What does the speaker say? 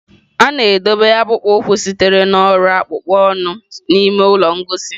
A na-edobe akpụkpọ ụkwụ sitere na ọrụ akpụkpọ anụ n'ime ụlọ ngosi.